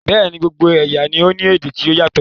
Bẹ́ẹ̀ni, gbogbo ẹ̀yà ni o ní èdè ti o yatọ